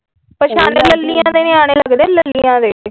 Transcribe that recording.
ਪਛਾਣੇ ਲੱਲੀਆ ਦੇ ਨਿਆਣੇ ਲਗਦੇ ਲੱਲੀਆ ਦੇ ।